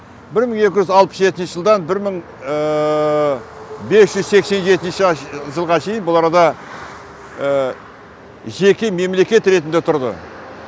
бір мың екі жүз алпыс жетінші жылдан бір мың бес жүз сексен жетінші жылға шейін бұл арада жеке мемлекет ретінде тұрды